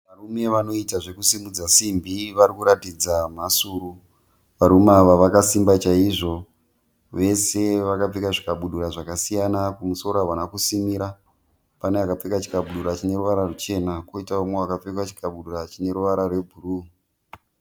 Varume vanoita zvokusimudza simbi vari kuratidza mhasuru. Varume ava vakasimba chaizvo. Vese vakapfeka zvikabudura zvakasiyana kumusoro havana kusimira. Pane akapfeka chikabudura chine ruvara ruchena koitawo umwe akapfeka chikabudura chine ruvara rwebhuru